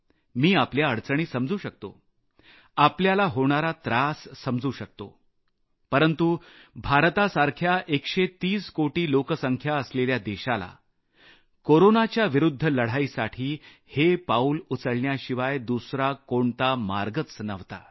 मी आपल्या अडचणी समजू शकतो आपल्याला होणारा त्रास समजू शकतो परंतु भारतासारख्या 130 कोटी लोकसंख्या असलेल्या देशाला कोरोनाच्या विरूद्घ लढाईसाठी हे पाऊल उचलण्याशिवाय दुसरा कोणता मार्गच नव्हता